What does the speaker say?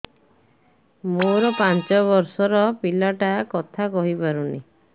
ମୋର ପାଞ୍ଚ ଵର୍ଷ ର ପିଲା ଟା କଥା କହି ପାରୁନି